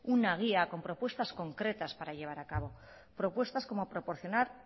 una guía con propuestas concretas para llevar a cabo propuestas como proporcionar